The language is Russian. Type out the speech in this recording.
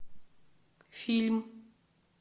фильм